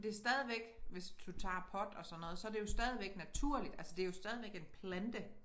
Det stadigvæk hvis du tager pot og sådan noget så det jo stadigvæk naturligt altså det jo stadigvæk en plante